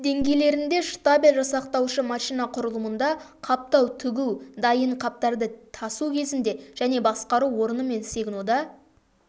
деңгейлерінде штабель жасақтаушы машина құрылымында қаптау тігу дайын қаптарды тасу кезінде және басқару орны мен сигнода